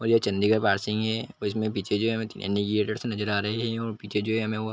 ये चंडीगड़ की है और ये पीछे जो है ये आँडिगेट्स नज़र आ रहा है पीछे जो हैं हमे वो--